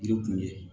Yiri kun ye